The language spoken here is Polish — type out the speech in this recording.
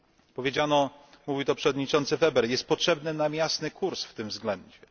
Powiedziano mówił to przewodniczący Weber że jest nam potrzebny jasny kurs w tym względzie.